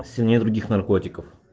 все нет других наркотиков